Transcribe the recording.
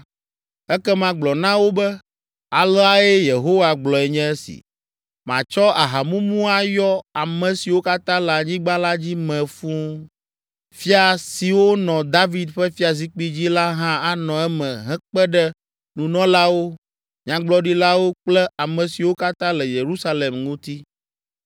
ekema gblɔ na wo be, aleae Yehowa gblɔe nye esi: ‘Matsɔ ahamumu ayɔ ame siwo katã le anyigba la dzi mee fũu, fia siwo nɔ David ƒe fiazikpui dzi la hã anɔ eme hekpe ɖe nunɔlawo, nyagblɔɖilawo kple ame siwo katã le Yerusalem ŋuti.